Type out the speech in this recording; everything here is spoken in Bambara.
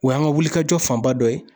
O y'an ka wulikajɔ fanba dɔ ye